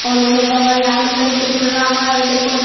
और उमे बगल यार में सब कुछु राखल छे --